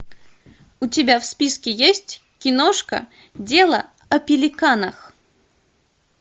у тебя в списке есть киношка дело о пеликанах